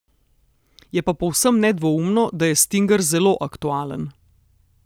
Je pa povsem nedvoumno, da je stinger zelo aktualen!